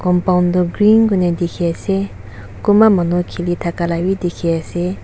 compound du green kurna dikhi ase kunba manu khili thaka la bhi dikhi ase.